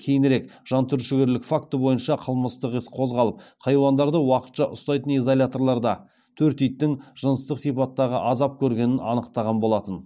кейінірек жантүршігерлік факті бойынша қылмыстық іс қозғалып хайуандарды уақытша ұстайтын изоляторда төрт иттің жыныстық сипаттағы азап көргені анықталған болатын